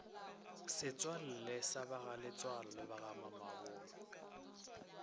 setswalle sa bagaletsoalo le bagamamabolo